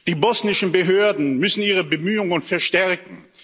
Die bosnischen Behörden müssen ihre Bemühungen verstärken.